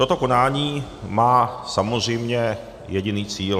Toto konání má samozřejmě jediný cíl.